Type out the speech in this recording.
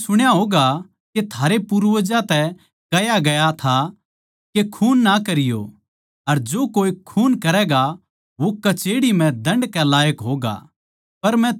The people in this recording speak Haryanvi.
थमनै सुण्या होगा के थारे पूर्वजां तै कह्या गया था के खून ना करियो अर जो कोए खून करैगा वो कचेह्ड़ी म्ह दण्ड के लायक होगा